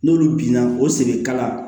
N'olu binna o segin kala